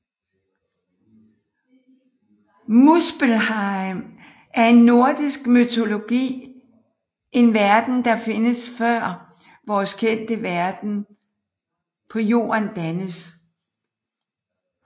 Muspelheim er i nordisk mytologi en verden der findes før vores kendte verden på jorden dannes